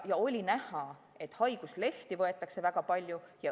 Ja oli näha, et haiguslehti võetakse väga palju.